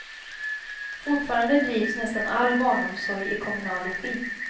Fortfarande drivs nästan all barnomsorg i kommunal regi.